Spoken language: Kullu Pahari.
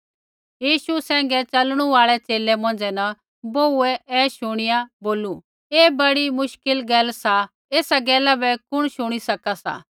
यीशु सैंघै च़लणु आल़ै च़ेले मौंझ़ै न बोहूऐ ऐ शुणिया बोलू ऐ बड़ी मुश्किल गैल सा ऐसा गैला बै कुण शुणी सका सा